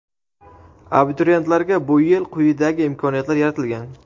Abituriyentlarga bu yil quyidagi imkoniyatlar yaratilgan:.